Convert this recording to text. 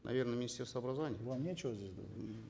наверно министерство образования вам нечего здесь мхм